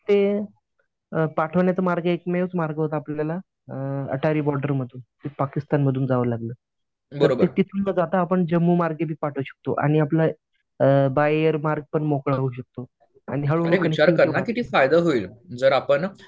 ते पाठवण्याचा मार्ग एकमेव मार्ग होता आपल्याला. अ अटारी बॉर्डर मधून पाकिस्तानमधून जावं लागलं. जम्मू मार्गे पण आपण पाठवू शकतो. आणि आपलं बाय एअर मार्ग पण मोकळा होऊ शकतो. आणि हळूहळू